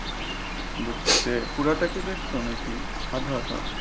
বুঝছি তে পুরাটা কি দেখছো নাকি আধা আধা?